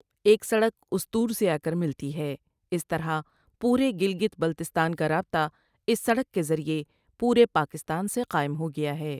ایک سڑک استور سے آکر ملتی ہے اس طرح پورے گلگت بلستان کا رابطہ اس سڑک کے ذریعے پورے پاکستان سے قائم ہو گیا ہے ۔